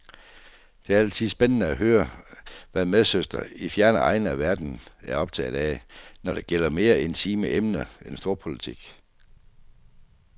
Det er altid spændende at høre, hvad medsøstre i fjerne egne af verden er optaget af, når det gælder mere intime emner end storpolitik.